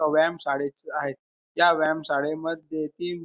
एका व्यायाम शाळेच आहे त्या व्यायाम शाळेमध्ये ती--